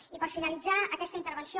i per finalitzar aquesta intervenció